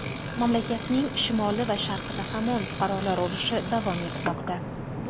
Mamlakatning shimoli va sharqida hamon fuqarolar urushi davom etmoqda.